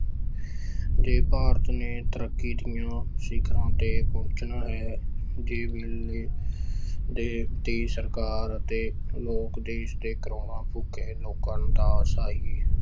ਜੇ ਭਾਰਤ ਨੇ ਤਰੱਕੀ ਦੀਆਂ ਸਿੱਖਰਾਂ ਤੇ ਪਹੁੰਚਣਾ ਹੈ, ਜੇ ਵੇਲੇ ਦੇ ਦੀ ਸਰਕਾਰ ਅਤੇ ਲੋਕ ਦੇਸ ਦੇ ਕਰੌੜਾਂ ਭੁੱਖੇ ਲੋਕਾਂ ਦਾ ਸਹੀ